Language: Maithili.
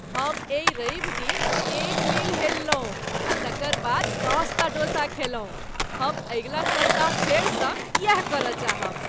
हम एहि रविदिन एक मील हेललहुँ आ तकर बाद दशटा डोसा खयलहुँ। हम अगिला सप्ताह फेरसँ यैह करय चाहब।